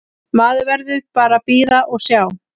Maður verður bara að bíða og sjá.